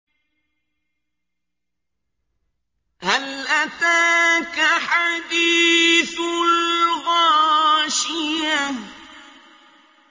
هَلْ أَتَاكَ حَدِيثُ الْغَاشِيَةِ